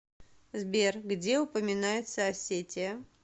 сбер где упоминается осетия